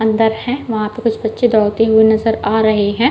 अंदर है वहां पे कुछ बच्चे दौरते हुए नजर आ रहे है।